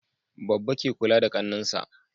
Babba ke kula da Kannan sa